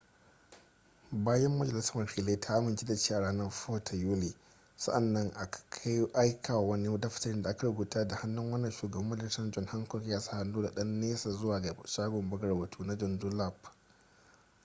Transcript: bayan majalisar wakilai ta amince da shi a ranar 4 ta yuli sa'an nan aka aika wani daftarin da aka rubuta da hannu wanda shugaban majalisar john hancock ya sa hannu da ɗan nesa zuwa ga shagon buga rubutu na john dunlap